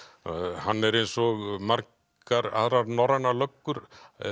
hann er eins og margar aðrar norrænar löggur